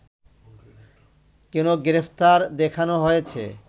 কেন গ্রেপ্তার দেখানো হয়েছে